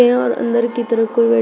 और अंदर की तरफ कोई बे--